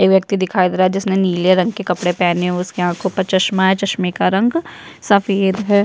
एक व्यक्ति दिखाई दे रहा है जिसने नीले रंग के कपड़े पहने है उसके आँखों पे चश्मा है चश्मे का रंग सफेद है।